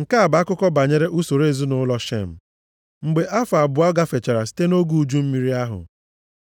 Nke a bụ akụkọ banyere usoro ezinaụlọ Shem. Mgbe afọ abụọ gafechara site nʼoge uju mmiri ahụ,